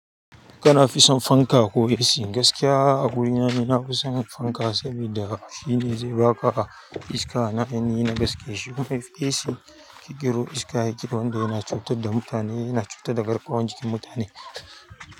Kana fison fanka koh AC gaskiya a wurina ni na fison fanka sabida shine zai ba ka iska na haini in gaske shi kuma AC ƙikero iska yake wanda yana cutar da mutane yana cutar da garkuwan jikin mutane.